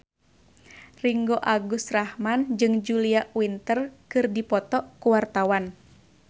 Ringgo Agus Rahman jeung Julia Winter keur dipoto ku wartawan